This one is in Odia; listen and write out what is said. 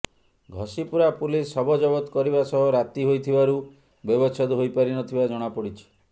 ଘସିପୁରା ପୁଲିସ ଶବ ଜବତ କରିବା ସହ ରାତି ହୋଇଥିବାରୁ ବ୍ୟବଚ୍ଛେଦ ହୋଇ ପାରି ନ ଥିବା ଜଣାପଡ଼ିଛି